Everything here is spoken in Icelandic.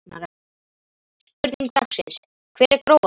Spurning dagsins: Hver er grófastur?